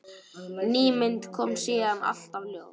Ný mynd kom síðan alltaf í ljós.